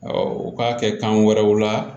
u k'a kɛ kan wɛrɛw la